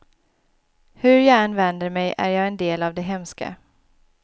Hur jag än vänder mig är jag en del av det hemska.